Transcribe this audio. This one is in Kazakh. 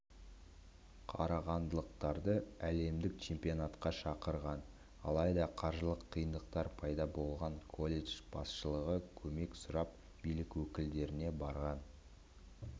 қарағандылықтарды әлемдік чемпионатқа шақырған алайда қаржылық қиындықтар пайда болған колледж басшылығы көмек сұрап билік өкілдеріне барған